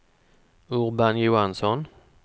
Urban Johansson